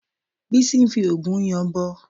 Bísí ń fi òògùn yanbọ